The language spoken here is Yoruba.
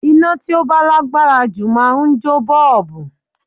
Iná tí ó bá lágbára jù máa ń jó bọ́ọ̀bù